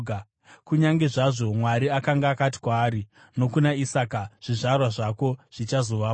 kunyange zvazvo Mwari akanga akati kwaari, “Nokuna Isaka zvizvarwa zvako zvichazovapo.”